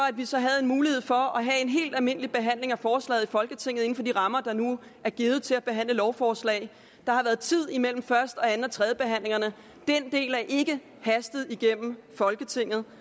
at vi så havde en mulighed for at have en helt almindelig behandling af forslaget i folketinget inden for de rammer der nu er givet til at behandle lovforslag der har været tid mellem første anden og tredjebehandlingerne den del er ikke hastet igennem folketinget